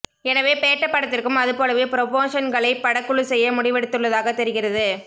எனவே பேட்டப் படத்திற்கும் அது போலவே புரோமோஷன்களை படக்குழு செய்ய முடிவெடுத்துள்ளதாகத் தெரிகிறது